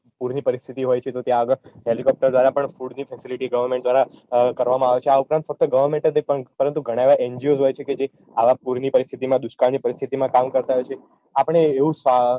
પુરની પરીસ્તિથી હોય છે તો ત્યાં આગળ હેલીકોપ્ટર દ્વારા પણ પુરની facility goverment દ્વારા કરવામાં આવે છે આ ઉપરાંત ફક્ત goverment જ નઈ પણ ઘણા એવાં NGO હોય છે કે જે આવાં પુરની પરીસ્તિથીમાં દુષ્કાળની પરીસ્તિથીમાં કામ કરતા હોય છે આ પણ એવું